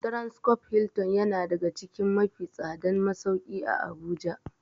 Transcorp Hilton yana daga cikin mafi tsadan masauki a habuja.